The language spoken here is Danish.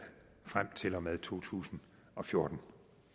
frem til og med to tusind og fjorten